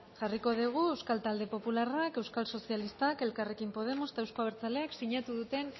jarriko dugu euskal talde popularrak euskal sozialistak elkarrekin podemos eta euzko abertzaleak sinatu duten